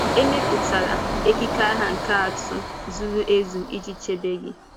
E mepụtara ekike agha ihe atụ zuru ezu iji chebe gị.